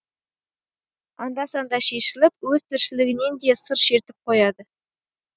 анда санда шешіліп өз тіршілігінен де сыр шертіп қояды